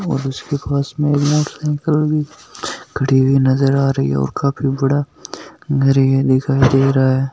खड़ी हुईं भी नजर आ रही है और काफी बड़ा दिखाई दे रहा है।